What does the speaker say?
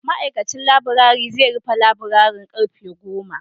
ma'aikacin laburare zai rufe laburare karfe goma